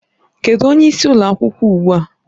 Kedụ onye isi ụlọ akwụkwọ ugbu a?